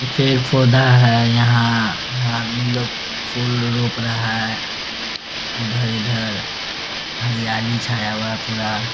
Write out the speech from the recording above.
पेड़-पौधा है | यहाँ यहाँ आदमी लोग फूल रोप रहा है उधर-इधर हरियाली छाया हुआ है पूरा --